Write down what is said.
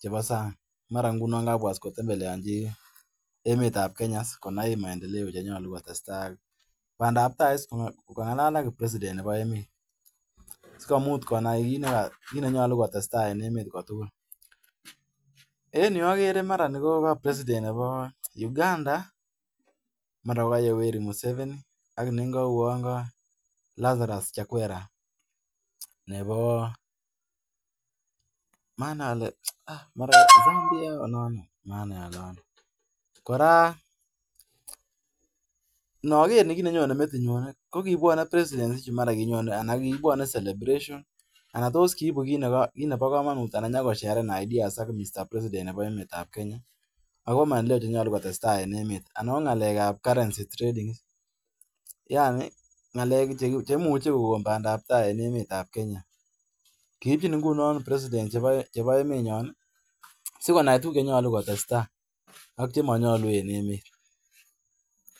chebo sang'. Uan kanyo emet ap Kenya koger maendeleo che tesetai.